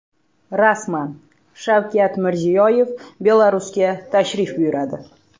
Rasman: Shavkat Mirziyoyev Belarusga tashrif buyuradi.